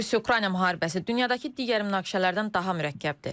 Rusiya-Ukrayna müharibəsi dünyadakı digər münaqişələrdən daha mürəkkəbdir.